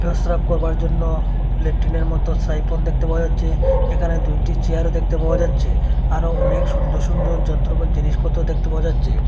পেস্রাব করবার জন্য ল্যাট্রিনের মতো সাইফুন দেখতে পাওয়া যাচ্ছে এখানে দুইটি চেয়ারও দেখতে পাওয়া যাচ্ছে আরও অনেক সুন্দর সুন্দর যন্ত্রপা জিনিসপত্র দেখতে পাওয়া যাচ্ছে।